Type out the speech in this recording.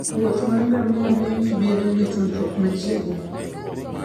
wuoth mar ngamia miyo ji bedo gi tudruok machiegni.